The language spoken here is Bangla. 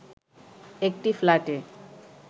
একটি ফ্ল্যাটে